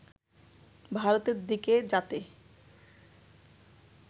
ভারতের দিকে যাতে